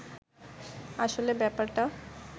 আসলে ব্যাপারটা